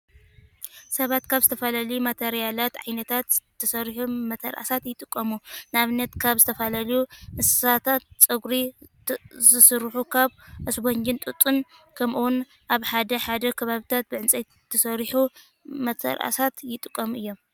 ሰባት ካብ ዝተፈላለዩ ማተርያላት (ዓይነታት) ዝተሰርሑ መተርኣሳት ይጥቀሙ። ንኣብነት ካብ ዝተፈላለዩ እንስሳታት ፀጉሪ ዝስርሑ፣ ካብ ኣስፖንጂን ጡጥን ከምኡውን ኣብ ሓደ ሓደ ከባቢታት ብዕንፀይቲ ዝተሰርሑ መተርኣሳት ይጥቀሙ እዮም።